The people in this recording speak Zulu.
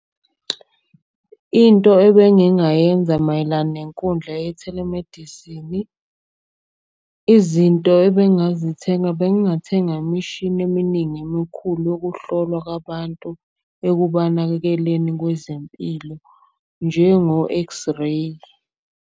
Into ebengingayenza mayelana nenkundla ye-telemedicine-i, izinto ebengazithenga. Bengathenga imishini eminingi emikhulu yokuhlolwa kwabantu ekubanakekeleni kwezempilo njengo-X-Ray.